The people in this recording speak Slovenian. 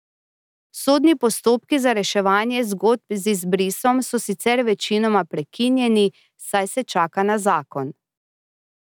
Sodni postopki za reševanje zgodb z izbrisom so sicer večinoma prekinjeni, saj se čaka na zakon.